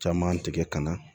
Caman tigɛ ka na